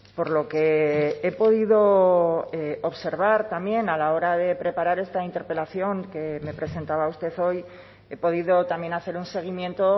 por lo que he podido observar también a la hora de preparar esta interpelación que me presentaba usted hoy he podido también hacer un seguimiento